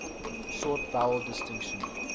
short vowel distinction